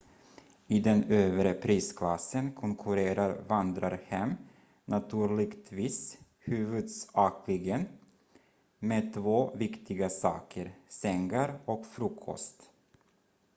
i den övre prisklassen konkurrerar vandrarhem naturligtvis huvudsakligen med två viktiga saker sängar och frukost